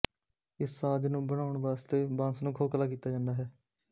ਇਸ ਸਾਜ਼ ਨੂੰ ਬਣਾਉਣ ਵਾਸਤੇ ਬਾਂਸ ਨੂੰ ਖੋਖਲਾ ਕੀਤਾ ਜਾਂਦਾ ਹੈ